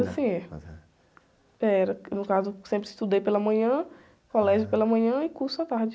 assim, é. Era, no caso, eu sempre estudei pela manhã, colégio pela manhã e curso à tarde.